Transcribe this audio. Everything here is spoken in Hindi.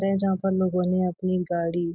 है जहाँ पर लोगों ने अपनी गाड़ी --